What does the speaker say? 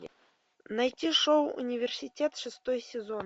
найти шоу университет шестой сезон